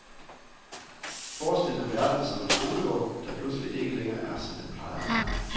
Forestil dem verden som en skolegård, der pludselig ikke længere er, som den plejer at være.